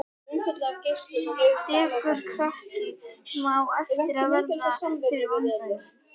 Dekurkrakki, sem á eftir að verða fyrir vonbrigðum.